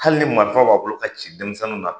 Hali ni marifa b'a bolo a ci denmisɛnninw na